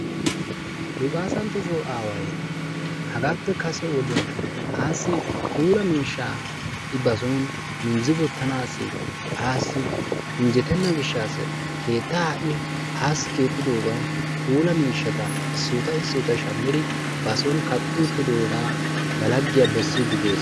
Luqqaassanttosso aaway hagaappe kase wodiyan aassi puulaa miishshaa I bason minjji wottanaassi aassi injjettenna gishshassi keettaa I aassi keexxiddogan puulaa miishshaata issotta issotta shammiri bason kaqqi uttiddogaa ba laggiya bessiidi dees.